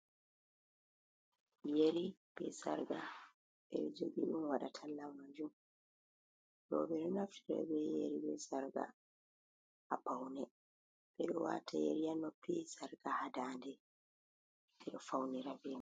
Yeri be sarka bedo jogiin waɗa tallamajun. Rob ɗo naftira be yeri be sarka ha paune bedo wata yeri ha noppi, sarga ha ndande. Beɗo faunira be mai.